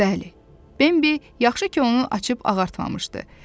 Bəli, Bembi yaxşı ki, onu açıb ağartmamışdı.